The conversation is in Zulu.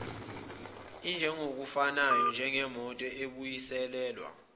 injengokufanayo njengemoto ebuyiselelwa